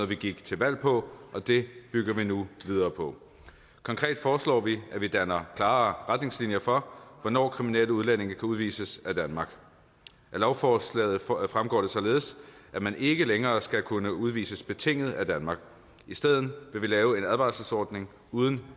vi gik til valg på og det bygger vi nu videre på konkret foreslår vi at vi laver klarere retningslinjer for hvornår kriminelle udlændinge kan udvises af danmark af lovforslaget fremgår det således at man ikke længere skal kunne udvises betinget af danmark i stedet vil vi lave en advarselsordning uden